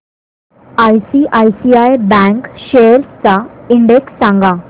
ICICI bank shares चा index सांगा